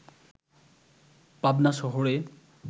পাবনা শহরে